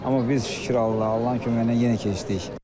Amma biz şükür Allaha, Allahın köməyi ilə yenə keçdik.